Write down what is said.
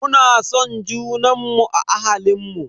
Muna son junanmu a ahalinmu.